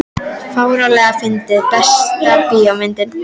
fáránlega fyndið Besta bíómyndin?